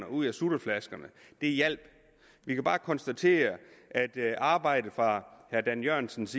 ud af sutteflaskerne det hjalp vi kan bare konstatere at arbejdet fra herre dan jørgensens